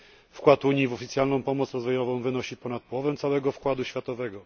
Wkład Unii w oficjalną pomoc rozwojową wynosi ponad połowę całego wkładu światowego.